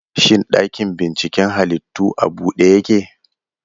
Shin ɗakin binciken halittu a bude yake?